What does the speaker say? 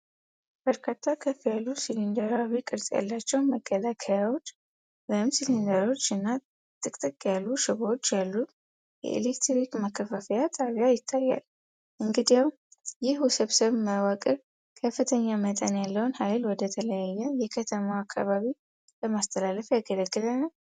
በርካታ ከፍ ያሉ ሲሊንደራዊ ቅርጽ ያላቸው መከላከያዎች (ኢንሱሌተሮች) እና ጥቅጥቅ ያሉ ሽቦዎች ያሉት የኤሌክትሪክ ማከፋፈያ ጣቢያ ይታያል፤ እንግዲያው፣ ይህ ውስብስብ መዋቅር ከፍተኛ መጠን ያለውን ኃይል ወደ ተለያዩ የከተማው አካባቢዎች ለማስተላለፍ ያገለግላልን?